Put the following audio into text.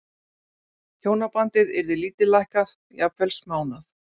Hjónabandið yrði lítillækkað, jafnvel smánað.